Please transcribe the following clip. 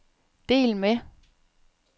del med